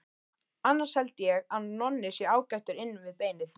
Annars held ég að Nonni sé ágætur inn við beinið.